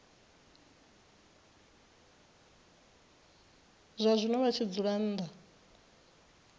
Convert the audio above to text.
zwazwino vha tshi dzula nnḓa